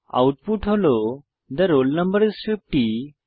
output হল the roll number is 50